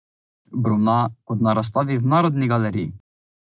Brumna kot na razstavi v Narodni galeriji.